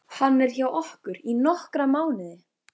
Hann er hjá okkur í nokkra mánuði.